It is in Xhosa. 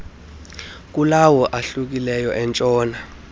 kulawo ahlukileyo entshona